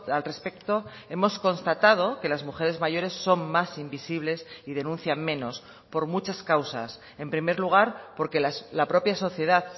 al respecto hemos constatado que las mujeres mayores son más invisibles y denuncian menos por muchas causas en primer lugar porque la propia sociedad